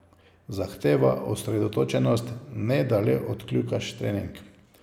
Zahteva osredotočenost, ne da le odkljukaš trening.